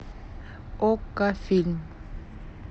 окко фильм